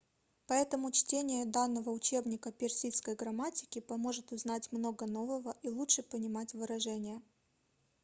поэтому чтение данного учебника персидской грамматики поможет узнать много нового и лучше понимать выражения